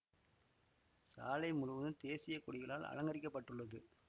சாலை முழுவதும் தேசிய கொடிகளால் அலங்கரிக்கப்பட்டுள்ளது